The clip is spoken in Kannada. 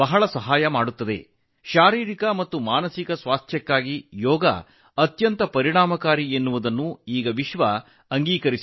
ಈಗ ಯೋಗವು ದೈಹಿಕ ಮತ್ತು ಮಾನಸಿಕ ಸ್ವಾಸ್ಥ್ಯಕ್ಕೆ ಬಹಳ ಪರಿಣಾಮಕಾರಿ ಎಂದು ಜಗತ್ತು ಒಪ್ಪಿಕೊಂಡಿದೆ